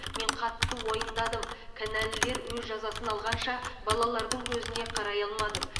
мен қатты уайымдадым кінәлілер өз жазасын алғанша балалардың көзіне қарай алмадым